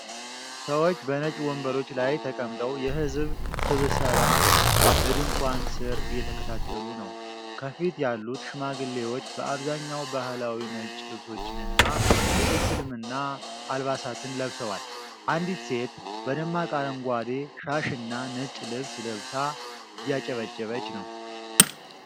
ሰዎች በነጭ ወንበሮች ላይ ተቀምጠው የህዝብ ስብሰባ በድንኳን ስር እየተከታተሉ ነው። ከፊት ያሉት ሽማግሌዎች በአብዛኛው ባህላዊ ነጭ ልብሶችንና የእስልምና አልባሳትን ለብሰዋል። አንዲት ሴት በደማቅ አረንጓዴ ሻሽና ነጭ ልብስ ለብሳ እያጨበጨበች ነው።